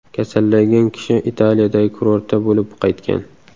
Kasallangan kishi Italiyadagi kurortda bo‘lib qaytgan.